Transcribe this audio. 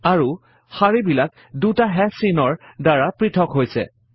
আৰু শাৰীবিলাক দুটা হাশ চিহ্নৰ দ্বাৰা পৄথক হৈছে